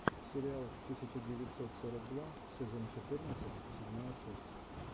сериал тысяча девятьсот сорок два сезон четырнадцать седьмая часть